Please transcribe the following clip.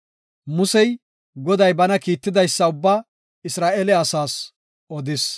Musey, Goday bana kiittidaysa ubbaa Isra7eele asaas odis.